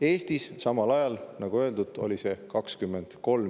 Eestis oli see samal ajal 23 senti kilovatt-tunni kohta.